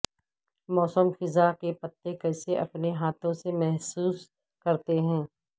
موسم خزاں کے پتے کیسے اپنے ہاتھوں سے محسوس کرتے ہیں